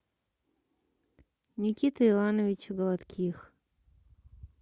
никиты ивановича гладких